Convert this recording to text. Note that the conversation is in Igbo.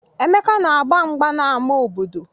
Emeka na-agba mgba n'ama obodo.